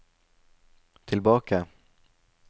tilbake